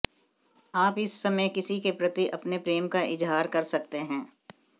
आप इस समय किसी के प्रति अपने प्रेम का इजहार कर सकते हैं